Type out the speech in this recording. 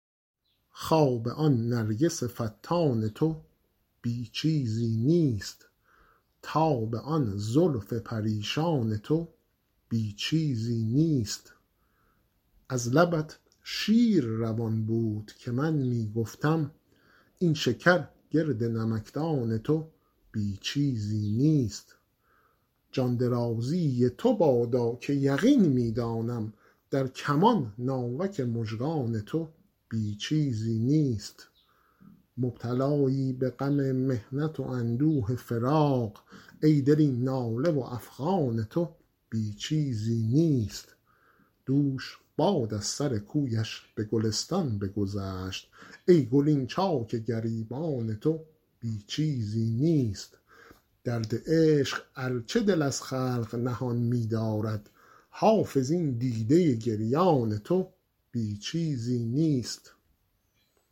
خواب آن نرگس فتان تو بی چیزی نیست تاب آن زلف پریشان تو بی چیزی نیست از لبت شیر روان بود که من می گفتم این شکر گرد نمکدان تو بی چیزی نیست جان درازی تو بادا که یقین می دانم در کمان ناوک مژگان تو بی چیزی نیست مبتلایی به غم محنت و اندوه فراق ای دل این ناله و افغان تو بی چیزی نیست دوش باد از سر کویش به گلستان بگذشت ای گل این چاک گریبان تو بی چیزی نیست درد عشق ار چه دل از خلق نهان می دارد حافظ این دیده گریان تو بی چیزی نیست